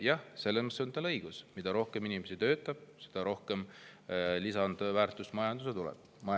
Jah, selles mõttes on teil õigus, et mida rohkem inimesi töötab, seda rohkem lisandväärtust majandusse tuleb.